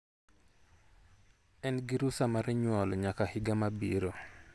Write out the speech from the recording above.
En gi rusa mar nyuol nyaka higa mabiro.